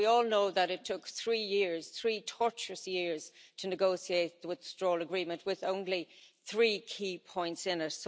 And we all know that it took three years, three torturous years, to negotiate the Withdrawal Agreement with only three key points in it.